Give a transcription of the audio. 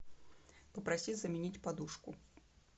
попроси заменить подушку